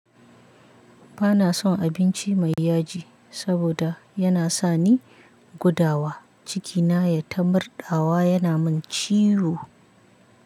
Bana son abinci mai yaji saboda yana sani gudawa, cikina ya ta mardawa yana min ciwo.